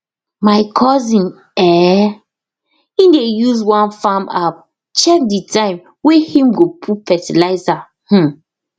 my cousin eh him dey use one farm app check de time way him go put fertilizer um